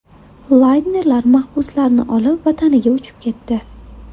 Laynerlar mahbuslarni olib, vataniga uchib ketdi.